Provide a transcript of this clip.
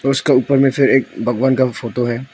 उसका ऊपर में से एक भगवान का भी फोटो है।